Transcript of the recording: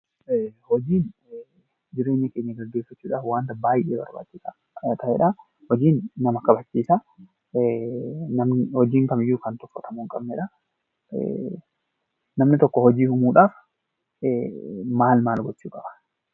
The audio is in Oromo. Hojiin jireenya keenya gaggeeffachuudhaf wanta baay'ee barbaachisaadha. Hojiin nama kabachiisa. Hojiin kamiyyuu kan tuffatamuu hin qabnedha.